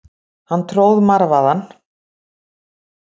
Hann tróð marvaðann.